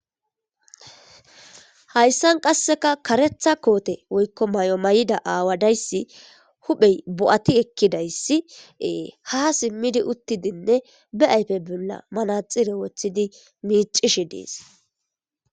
hayssan qasseka karetha koote woykko mayo mayida aawadayssi huphey bo7ati ekkidayssiee ha simmidi uttidinne be ayfe bolla manaxire woththidi miicishe dees